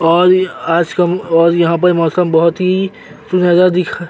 और आज का और यहाँ पे मौसम बहोत ही सुनहरा दिख --